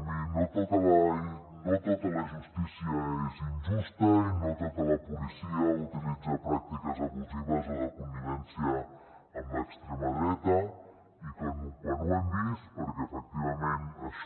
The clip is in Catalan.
mirin no tota la justícia és injusta i no tota la policia utilitza pràctiques abusives o de connivència amb l’extrema dreta i quan ho hem vist perquè efectivament això